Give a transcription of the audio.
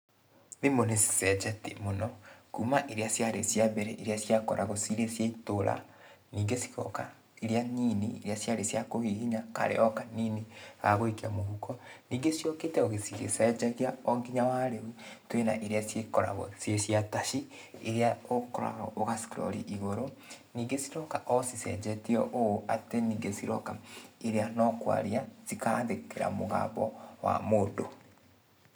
Thimũ nĩ cicenjetie mũno kuma iria ciarĩ cia mbere iria ciakoragwo cirĩ cia itũra ningĩ cigoka iria nini iria ciarĩ cia kũhihinya karĩ o kanini ka gũikia mũhuko. Ningĩ ciũkĩte o cigĩcenjagia o nginya wa rĩu twĩ na iria cikoragwo ciĩ cia taci iria ũkoraga ũga scroll igũrũ, ningĩ ciroka o cicenjetie ũũ atĩ ningĩ ciroka iria no kwaria cikandĩkĩra mũgambo wa mũndũ.